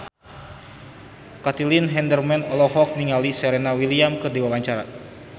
Caitlin Halderman olohok ningali Serena Williams keur diwawancara